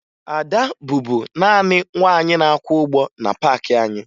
Ada bụbu naanị nwaanyị na-akwa ụgbọ na paakị anyị